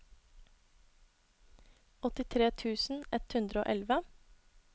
åttitre tusen ett hundre og elleve